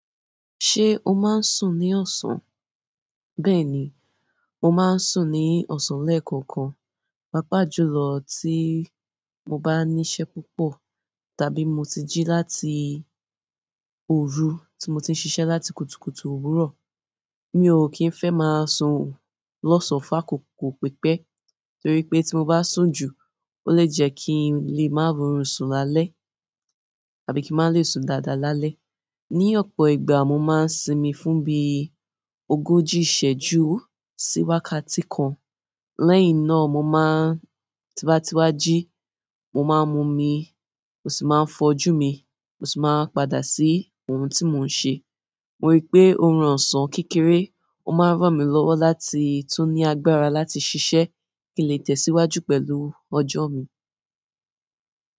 Ṣé o máa ń sùn ní ọ̀sán? Bẹ́ẹ̀ ni, mo máa ń sùn ní ọ̀sán lẹ́ẹ̀kọ̀kan, pàápàá jùlọ tí mo bá ní iṣẹ́ púpọ̀ tàbí mo ti jí láti òru tí mo ti ń ṣiṣẹ láti kùtùkùtù òwúrọ̀. Mi ò kí ń fẹ́ máa sùn lọ́sàn-án fákokò pípẹ́ torí pé tí mo bá sùn jù ó lè jẹ́ kí n lè má rọrùn sùn lálẹ́ tàbí kí n lè má sùn dáadáa lálẹ́. Ni ọ̀pọ̀ ìgbà mo máa ń sinmi fún bí ogójì ìṣẹ́jú sí wákàtí kan. Lẹ́yìn náà mo máa ń, tíba tíwa jí, mo máa ń mu omi mo sì máa ń fojú mi mo sì máa ń padà sí ohun tí mò ń ṣe. Mo rí i pé oorun ọ̀sán kékeré ó máa ń ràn mí lọ́wọ́ láti tún ní agbára láti ṣiṣẹ kí n lè tẹ̀síwájú pẹ̀lú ọjọ́ mi.